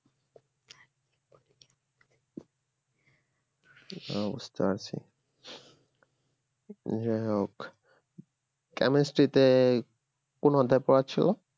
ও বুঝতে পারছি যাই হোক chemistry তে কোন অধ্যায় পড়াচ্ছে গো